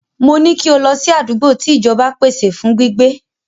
Mo ní kí o lọ sí àdúgbò tí ìjọba pèsè fún gbígbé.